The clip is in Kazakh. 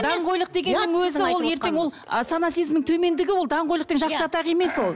даңғойлық дегеннің өзі ол ертең ол ы сана сезімнің төмендігі ол даңғойлық деген жақсы атақ емес ол